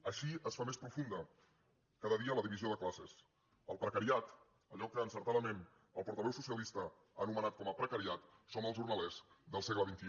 així es fa més profunda cada dia la divisió de classes el precariat allò que encertadament el portaveu socialista ha anomenat com a precariat som els jornalers del segle xxi